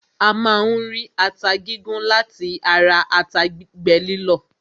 A máa ń rí ata gígún láti ata gbígbẹ lílọ̀.